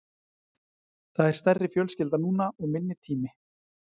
Það er stærri fjölskylda núna og minni tími.